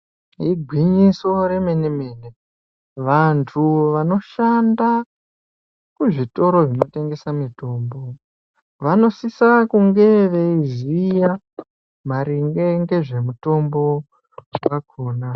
Igwinyiso remenemene vantu vanoshanda kuzvitoro zvinotengese mutombo vanosise kunge veiziya maringe ngezve mutombo wakona.